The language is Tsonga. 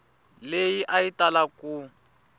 leyi a yi tala ku